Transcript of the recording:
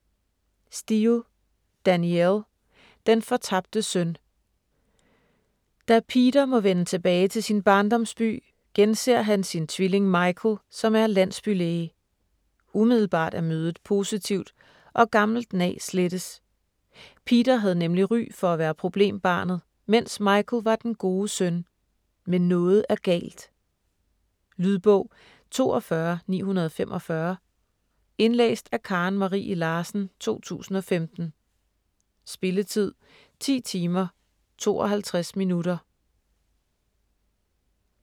Steel, Danielle: Den fortabte søn Da Peter må vende tilbage til sin barndomsby, genser han sin tvilling Michael, som er landsbylæge. Umiddelbart er mødet positivt, og gammelt nag slettes. Peter havde nemlig ry for at være problembarnet, mens Michael var den gode søn. Men noget er galt. Lydbog 42945 Indlæst af Karen Marie Larsen, 2015. Spilletid: 10 timer, 52 minutter.